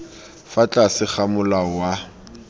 fa tlase ga molao wa